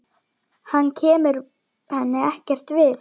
Hann kemur henni ekkert við.